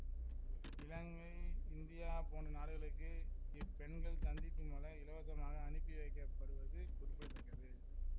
இலங்கை India போன்ற நாடுகளுக்கு இப் பெண்கள் சந்திப்பு மலர் இலவசமாக அனுப்பி வைக்க படுவது குறிப்பிட தக்கது